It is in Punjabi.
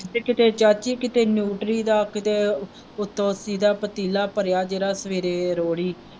ਤੇ ਕਿਤੇ ਚਾਚੀ ਕਿਤੇ ਨਿਉਟਰੀ ਦਾ ਕਿਤੇ ਉੱਤੇ ਪੂਰਾ ਪਤੀਲਾ ਭਰਿਆ ਜਿਹੜਾ ਸਵੇਰੇ ਰੋਹੜੀ।